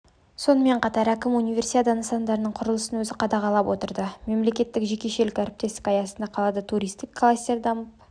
сонымен қатар әкім универсиада нысандарының құрылысын өзі қадағалап отырды мемлекеттік-жекешелік әріптестік аясында қалада туристік кластер дамып